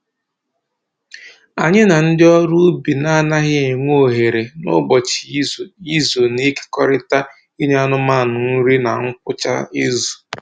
Anyị na ndị ọrụ ubi na-anaghị enwe ohere n'ụbọchị izu izu na-ekerikọta inye anụmanụ nri na ngwụcha izu